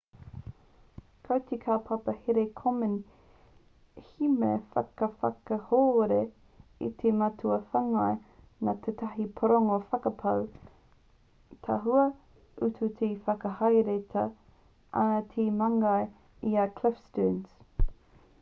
ko te kaupapa here a komen he mea whakakahore i te mātua whāngai nā tētahi pūrongo whakapau tahua utu e whakahaeretia ana e te māngai i a cliff sterns